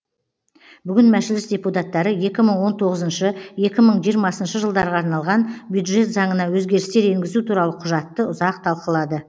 бүгін мәжіліс депутаттары екі мың он тоғызыншы екі мың жиырмасыншы жылдарға арналған бюджет заңына өзгерістер енгізу туралы құжатты ұзақ талқылады